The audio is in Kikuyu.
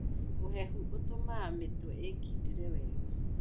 Ũhehu ũtũmaga mĩtwe ĩkindĩre wega.